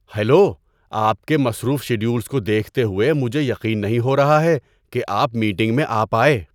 Hello! آپ کے مصروف شیڈولز کو دیکھتے ہوئے مجھے یقین نہیں ہو رہا ہے کہ آپ میٹنگ میں آ پائے!